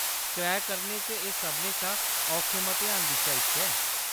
Crack करने च एह् सभनें शा औखे मतेहानें बिच्चा इक ऐ।